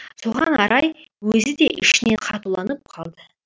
соған қарай өзі де ішінен қатуланып қалды